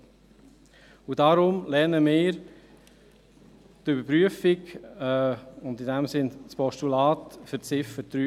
Deshalb lehnen wir die Überprüfung und deshalb das Postulat in Ziffer 3 ab.